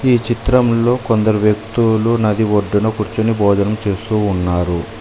ఈ చిత్రములో కొందరు వ్యక్తులు నది ఒడ్డును కూర్చుని భోజనం చేస్తూ ఉన్నారు.